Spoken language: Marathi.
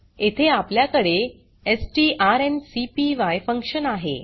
येथे आपल्याकडे स्ट्रांकपाय फंक्शन आहे